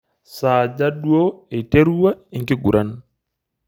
Saaja duo eiterua enkiguran?